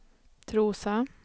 Trosa